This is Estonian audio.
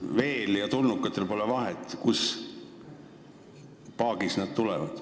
Veel ja tulnukatel pole vahet, kus paagis nad tulevad.